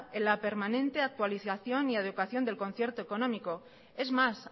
en la permanente actualización y adecuación del concierto económico es más